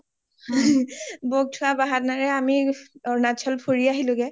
বৌওক থোৱা বাহানাৰেই আমি অৰুণাচল ফুৰি আহিলো গে